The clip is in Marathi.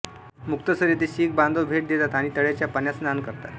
मुक्तसर येथे शीख बांधव भेट देतात आणि तळ्याच्या पाण्यात स्नान करतात